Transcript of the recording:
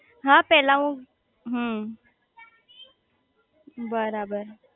હા પેલા હું હમ્મ બરાબર